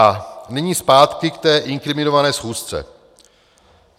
A nyní zpátky k té inkriminované schůzce.